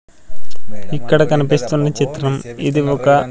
ఇక్కడ కనిపిస్తున్న చిత్రం ఇది ఒక--